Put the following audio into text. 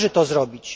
Należy to zrobić.